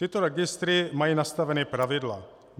Tyto registry mají nastavena pravidla.